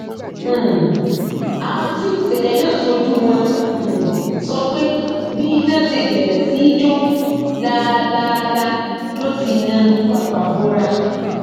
um àwọn tí ìṣẹlẹ náà ṣojú wọn um sọ pé bí iná ṣe bẹrẹ sí í jó lálàálá ló ti na pàpabọra